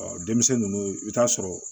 Ɔ denmisɛnnin ninnu i bɛ taa sɔrɔ